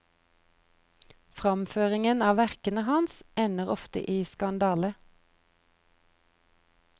Framføringen av verkene hans ender ofte i skandale.